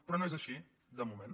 però no és així de moment